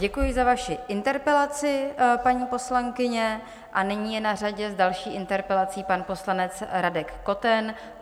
Děkuji za vaši interpelaci, paní poslankyně, a nyní je na řadě s další interpelací pan poslanec Radek Koten.